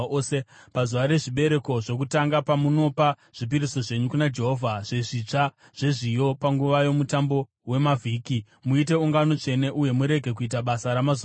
“ ‘Pazuva rezvibereko zvokutanga, pamunopa zvipiriso zvenyu kuna Jehovha, zvezvitsva zvezviyo panguva yoMutambo weMavhiki, muite ungano tsvene uye murege kuita basa ramazuva ose.